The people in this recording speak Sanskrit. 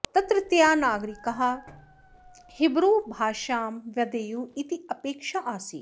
तत्रत्याः नागरिकाः हिब्रू भाषां वदेयुः इति अपेक्षा आसीत्